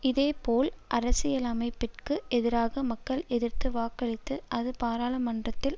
இதேபோல் அரசியலமைப்பிற்கு எதிராக மக்கள் எதிர்த்து வாக்களித்து அது பாராளுமன்றத்தில்